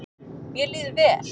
Mér líður vel.